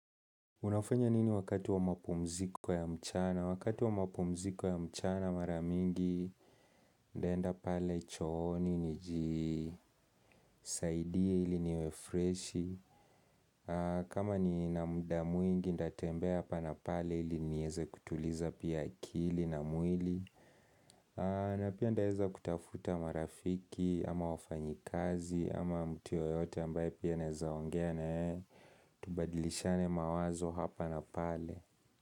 Unafanya nini wakati wa mapumziko ya mchana? Wakati wa mapumziko ya mchana mara mingi ntaenda pale chooni, nijisaidie ili niwefreshi. Kama ni na muda mwingi nta tembea hapa na pale ili nieze kutuliza pia akili na mwili. Na pia ntaeza kutafuta marafiki, ama wafanyikazi, ama mtu yoyote ambaye pia naezaongea na yeye. Tubadilishane mawazo hapa na pale.